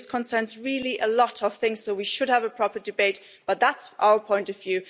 This concerns really a lot of things so we should have a proper debate that's our point of view.